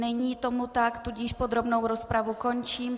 Není tomu tak, tudíž podrobnou rozpravu končím.